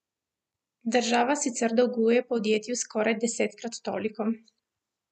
Država sicer dolguje podjetju skoraj desetkrat toliko.